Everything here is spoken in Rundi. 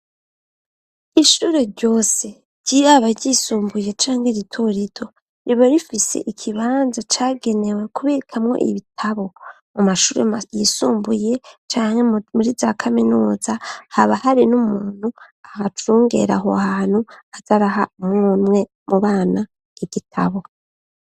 Ishuri ryose ryiraba ryisumbuye canke ritorido ribo rifise ikibanza cagenewe kubikamwo ibitabo mu mashuri yisumbuye canke muri za kaminuza haba hari n'umuntu ahacungera aho hantu azaraha umwunwe mu bana igitabu.